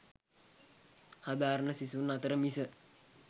හදාරණ සිසුන් අතර මිස